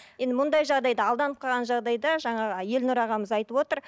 енді мұндай жағдайда алданып қалған жағдайда жаңағы елнұр ағамыз айтып отыр